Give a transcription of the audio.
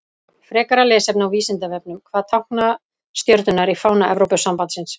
Frekara lesefni á Vísindavefnum: Hvað tákna stjörnurnar í fána Evrópusambandsins?